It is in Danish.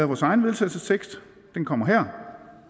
vores egen vedtagelsestekst den kommer her